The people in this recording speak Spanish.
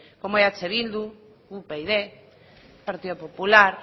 como eh bildu upyd partido popular